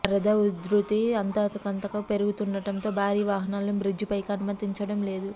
వరద ఉధృతి అంతకంతకు పెరుగుతుండటంతో భారీ వాహనాలను బ్రిడ్జి పై కి అనుమతించడం లేదు